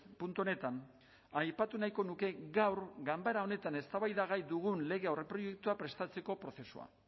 puntu honetan aipatu nahiko nuke gaur ganbera honetan eztabaidagai dugun lege aurreproiektua prestatzeko prozesua